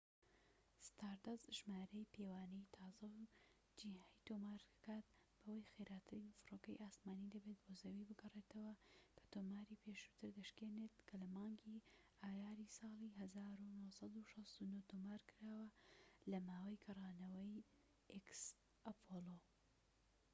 ستاردەست ژمارەیەی پێوانەیی تازە و جیهای تۆمار دەکات بەوەی خێراترین فڕۆکەی ئاسمانیی دەبێت بۆ زەوی بگەڕێتەوە، کە تۆماری پێشووتر دەشکێنێت کە لە مانگی ئایاری ساڵی 1969 تۆمارکراوە لە ماوەی گەڕانەوەی ئەپۆڵۆx